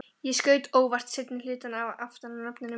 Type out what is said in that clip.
Ég skaut óvart seinni hlutann aftan af nafninu mínu.